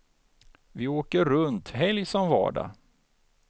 Vi åker runt helg som vardag.